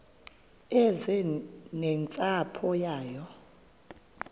eze nentsapho yayo